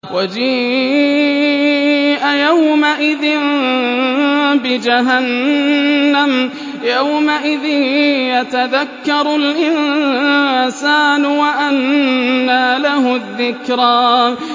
وَجِيءَ يَوْمَئِذٍ بِجَهَنَّمَ ۚ يَوْمَئِذٍ يَتَذَكَّرُ الْإِنسَانُ وَأَنَّىٰ لَهُ الذِّكْرَىٰ